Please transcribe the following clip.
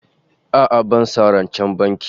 A'a bana son rancen banki